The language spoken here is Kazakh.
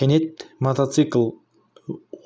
кенет мотоцикл